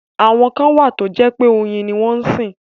Àwọn kan wà tó jẹ́ pé oyin ni wọ́n sìn.